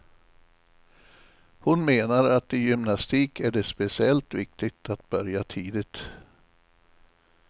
Hon menar att i gymnastik är det speciellt viktigt att börja tidigt.